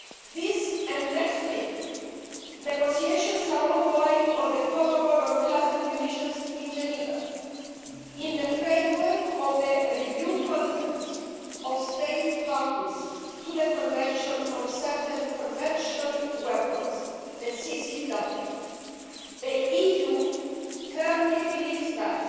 This and next week, negotiations are ongoing on a Protocol on cluster munitions in Geneva in the framework of the Review Conference of States Parties to the Convention on Certain Conventional Weapons the CCW. The EU firmly believes that